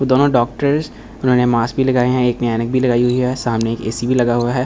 दोनों डॉक्टर्स जिन्हो ने मास्क भी लगाए हैं एक ने ऐनक भी लगाई हुई है सामने ए_सी भी लगा हुआ है।